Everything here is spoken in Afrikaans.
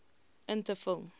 in te vul